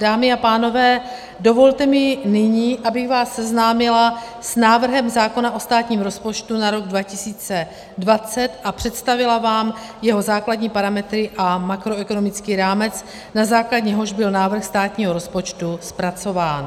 Dámy a pánové, dovolte mi nyní, abych vás seznámila s návrhem zákona o státním rozpočtu na rok 2020 a představila vám jeho základní parametry a makroekonomický rámec, na základě něhož byl návrh státního rozpočtu zpracován.